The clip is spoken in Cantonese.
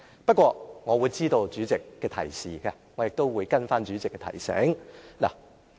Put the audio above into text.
不過，我知道代理主席的提示，我亦會跟從代理主席的提醒。